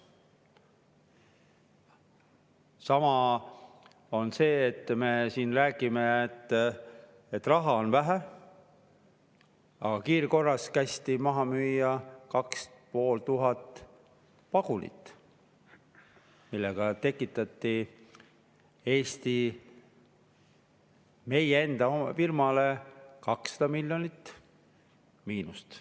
Sama on selle asjaga, et me siin räägime, et raha on vähe, aga kiirkorras kästi maha müüa 2500 vagunit, millega tekitati Eesti firmale, meie enda firmale 200 miljonit miinust.